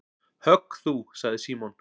Högg þú sagði Símon.